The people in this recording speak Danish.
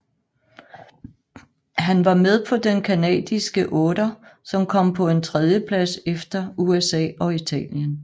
Han var med på den canadiske otter som kom på en tredjeplads efter USA og Italien